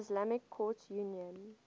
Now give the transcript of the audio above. islamic courts union